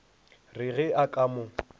re ge a ka mo